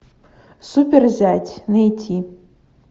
супер зять найти